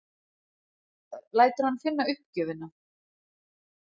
Lætur hann finna uppgjöfina.